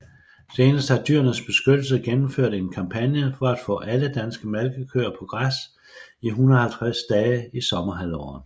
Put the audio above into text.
Senest har Dyrenes Beskyttelse gennemført en kampagne for at få alle danske malkekøer på græs i 150 dage i sommerhalvåret